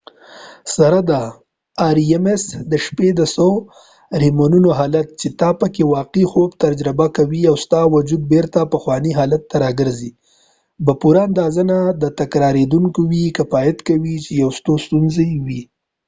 د شپې د څو ریمونو rems سره دا حالت چې ته پکې واقعی خوب تجربه کوي او ستا وجود بیرته پخوانی حالت ته راګرځی به پوره اندازه نه تکراریدونکې وي کفایت کوي چې یوه ستونزه وي